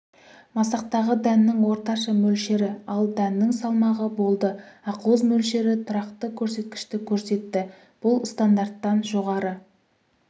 масақтағы дәннің орташа мөлшері ал дәннің салмағы болды ақуыз мөлшері тұрақты көрсеткішті көрсетті бұл стандарттан жоғары